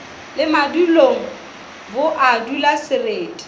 le maledung bo a dulasereti